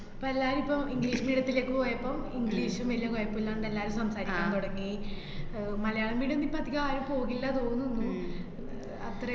എപ്പോ എല്ലാരും ഇപ്പം English medium ത്തിലേക്ക് പോയപ്പം, English വലിയ കൊഴപ്പമില്ലാണ്ട് എല്ലാരും സംസാരിക്കാൻ തുടങ്ങി. ആഹ് മലയാളം medium ഇപ്പ അധികം ആരും പോകില്ല തോന്ന്ന്ന്. ആഹ് അത്ര